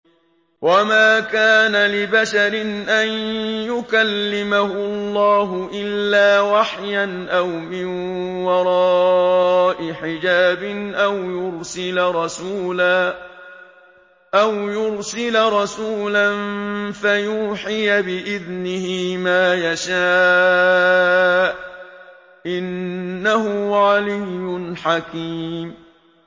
۞ وَمَا كَانَ لِبَشَرٍ أَن يُكَلِّمَهُ اللَّهُ إِلَّا وَحْيًا أَوْ مِن وَرَاءِ حِجَابٍ أَوْ يُرْسِلَ رَسُولًا فَيُوحِيَ بِإِذْنِهِ مَا يَشَاءُ ۚ إِنَّهُ عَلِيٌّ حَكِيمٌ